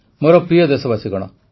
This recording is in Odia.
ମୋର ପ୍ରିୟ ଦେଶବାସୀଗଣ